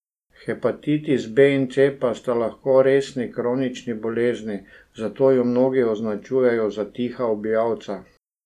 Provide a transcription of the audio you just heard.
Hepatitisa B in C pa sta lahko resni kronični bolezni, zato ju mnogi označujejo za tiha ubijalca.